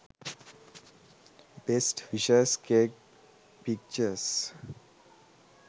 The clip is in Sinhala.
best wishes cake pictures